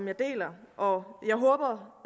jeg deler og jeg håber